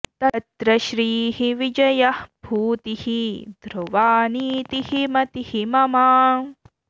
तत्र श्रीः विजयः भूतिः ध्रुवा नीतिः मतिः मम